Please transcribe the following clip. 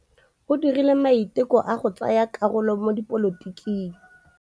O dirile maitekô a go tsaya karolo mo dipolotiking.